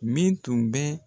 Min tun bɛ